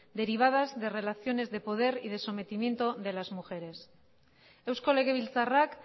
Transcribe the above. derivadas de relaciones de poder y de sometimiento de las mujeres eusko legebiltzarrak